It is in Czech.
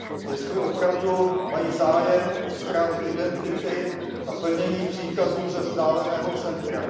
Jestli opravdu mají zájem o ztrátu identity a plnění příkazů ze vzdáleného centra.